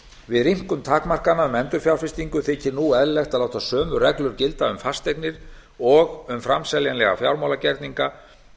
við rýmkun takmarkana um endurfjárfestingu þykir nú eðlilegt að láta sömu reglur gilda um fasteignir og um framseljanlega fjármálagerninga